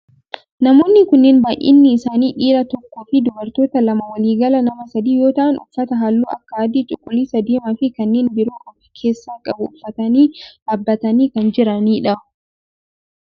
Namoonni kunneen baayyinni isaanii dhiira tokkoo fi dubartoota lama waliigala nama sadi yoo ta'aan uffata halluu akka adii, cuquliisa, diimaa fi kanneen biroo of keessaa qabu uffatanii dhaabbatanii kan jiranidha.